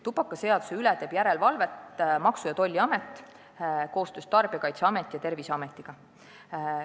Tubakaseaduse täitmise üle teeb järelevalvet Maksu- ja Tolliamet koostöös Tarbijakaitseameti ja Terviseametiga.